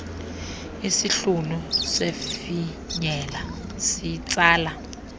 isihlunu sifinyela sitsala